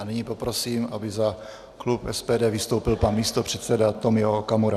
A nyní poprosím, aby za klub SPD vystoupil pan místopředseda Tomio Okamura.